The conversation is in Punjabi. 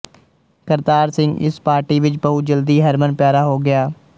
ਕਰਤਾਰ ਸਿੰਘ ਇਸ ਪਾਰਟੀ ਵਿੱਚ ਬਹੁਤ ਜਲਦੀ ਹਰਮਨਪਿਆਰਾ ਹੋ ਗਿਆ